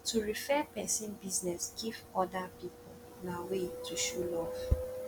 to refer persin business give oda pipo na way to show love